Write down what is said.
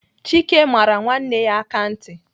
Chike mara nwanne ya aka ntị.